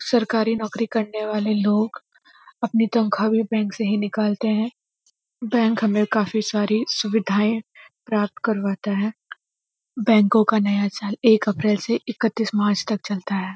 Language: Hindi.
सरकारी नौकरी करने वाले लोग अपनी तनख्वाह भी बैंक से ही निकालते हैं बैंक हमें काफ़ी सारी सुविधाएँ प्राप्त करवाता है बैंकों का नया साल एक अप्रैल से इकतीस मार्च तक चलता है।